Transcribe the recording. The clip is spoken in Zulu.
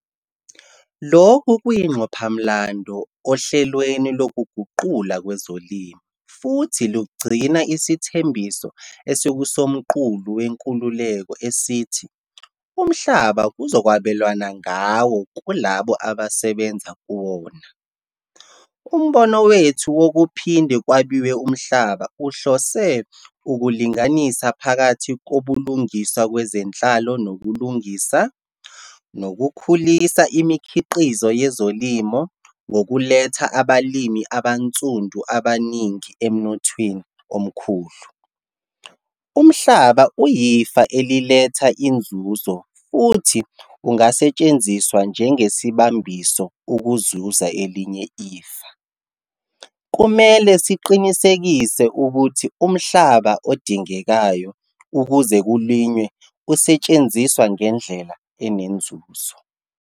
Lokhu kuyingqophamlando ohlelweni lokuguqulwa kwezolimo, futhi lugcina isithembiso esikuSomqulu Wenkululeko esithi umhlaba kuzokwabelwana ngawo kulabo abasebenza kuwona. Umbono wethu wokuphinde kwabiwe umhlaba uhlose ukulinganisa phakathi kobulungiswa kwezenhlalo nokulungisa, nokukhulisa imikhiqizo yezolimo ngokuletha abalimi abansundu abaningi emnothweni omkhulu. Umhlaba uyifa eliletha inzuzo futhi ungasetshenziswa njengesibambiso ukuzuza elinye ifa. Kumele siqinisekise ukuthi umhlaba odingekayo ukuze kulinywe usetshenziswa ngendlela enenzuzo.